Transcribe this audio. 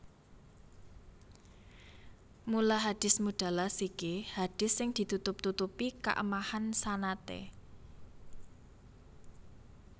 Mula Hadis Mudallas iki hadis sing ditutup tutupi kaemahan sanadé